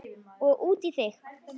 Og út í þig.